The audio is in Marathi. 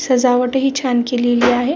सजावट ही छान केलेली आहे.